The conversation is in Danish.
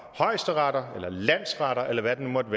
højesteretter landsretter eller hvad det nu måtte